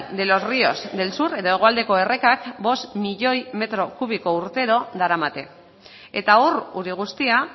de los ríos del sur edo hegoaldeko errekak cinco milioi metro kubiko urtero daramate eta hor ur guztia